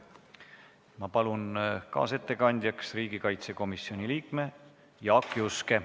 Ma palun kaasettekandjaks riigikaitsekomisjoni liikme Jaak Juske.